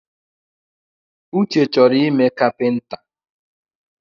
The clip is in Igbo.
Uche chọrọ ime kapinta